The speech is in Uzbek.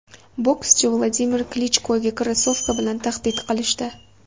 Bokschi Vladimir Klichkoga krossovka bilan tahdid qilishdi.